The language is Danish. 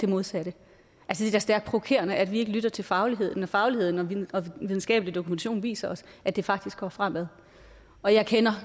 modsatte det er da stærkt provokerende at vi ikke lytter til fagligheden når fagligheden og den videnskabelige dokumentation viser os at det faktisk går fremad og jeg kender